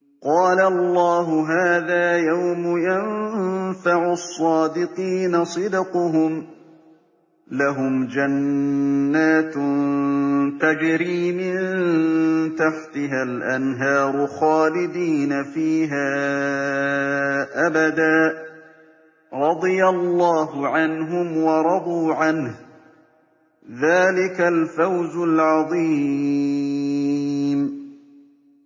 قَالَ اللَّهُ هَٰذَا يَوْمُ يَنفَعُ الصَّادِقِينَ صِدْقُهُمْ ۚ لَهُمْ جَنَّاتٌ تَجْرِي مِن تَحْتِهَا الْأَنْهَارُ خَالِدِينَ فِيهَا أَبَدًا ۚ رَّضِيَ اللَّهُ عَنْهُمْ وَرَضُوا عَنْهُ ۚ ذَٰلِكَ الْفَوْزُ الْعَظِيمُ